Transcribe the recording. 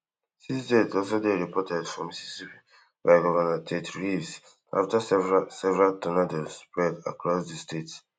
six jet also dey reported for mississippi by governor tet reeves afta several several tornadoes spread across di state